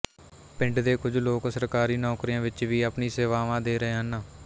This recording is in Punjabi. ਪਿੰਡ ਦੇ ਕੁਝ ਲੋਕ ਸਰਕਾਰੀ ਨੌਕਰੀਆਂ ਵਿੱਚ ਵੀ ਆਪਣੀਆਂ ਸੇਵਾਵਾਂ ਦੇ ਰਹੇ ਹਨ